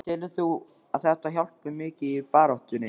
Telur þú að þetta hjálpi mikið í baráttunni?